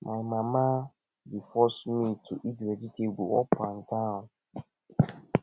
my mama dey force me to eat vegetable up and down